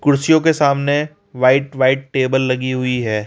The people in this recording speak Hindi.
कुर्सियों के सामने व्हाइट व्हाइट टेबल लगी हुई है।